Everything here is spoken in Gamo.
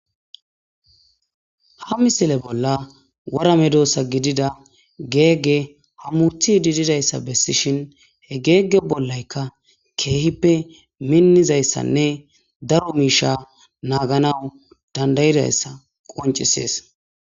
Ha misile bolla wora medosa gididaysa gegey hamutidi dizaysa besishen he gege bolaykka kehipe minizaysanne daro Misha naganaw dadaysa qoncises